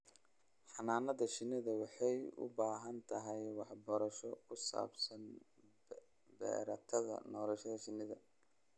Xannaanada shinnidu waxay u baahan tahay waxbarasho ku saabsan meertada nolosha shinnida.